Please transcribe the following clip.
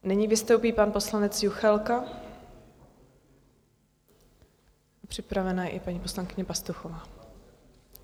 Nyní vystoupí pan poslanec Juchelka, připravena je i paní poslankyně Pastuchová.